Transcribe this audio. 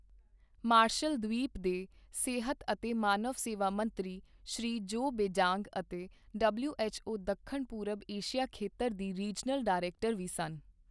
Martial ਦ੍ਵੀਪ ਦੇ ਸਿਹਤ ਅਤੇ ਮਾਨਵ ਸੇਵਾ ਮੰਤਰੀ, ਸ਼੍ਰੀ ਜੋ ਬੇਜਾਂਗ ਅਤੇ ਡਬਲਿਊਐੱਚਓ ਦੱਖਣ ਪੂਰਬ ਏਸ਼ੀਆ ਖੇਤਰ ਦੀ ਰੀਜਨਲ ਡਾਇਰੈਕਟਰ ਵੀ ਸਨ।